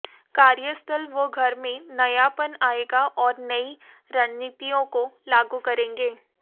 कार्यस्थल व घर में नयापन आएगा और नई रणनीतियों को लागू करेंगे